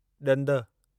ॾंदु